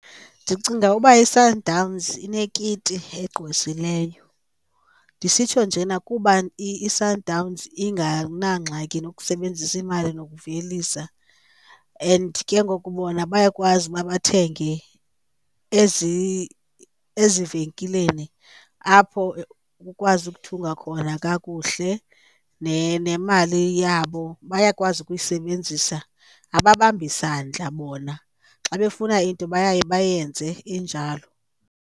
Ndicinga uba iSundowns inekiti egqwesileyo. Ndisitsho njena kuba iSundowns inganangxaki nokusebenzisa imali nokuvelisa and ke ngoku bona bayakwazi uba bathenge ezivenkileni apho ukwazi ukuthunga khona kakuhle nemali yabo bayakwazi ukuyisebenzisa, ababambi sandla bona xa befuna into baye bayenze injalo.